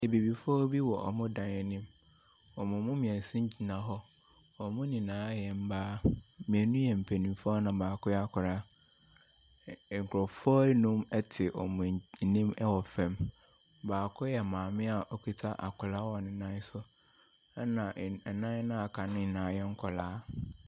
Abibifoɔ bi wɔ wɔn dan anim. Wɔn mu mmeɛnsa gyina hɔ. Wɔn nyinaa yɛ mmaa. Mmienu yɛ mpanimfoɔ na baako yɛ akwadaa. Ɛ Nkurɔfoɔ nnum te wɔn anim wɔ fam. Baako yɛ maame a ɔkuta akwadaa wɔ ne nan so, ɛnna nnan a wɔaka no nyinaa yɛ nkwadaa.